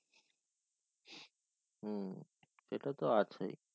হুম এটা তো আছেই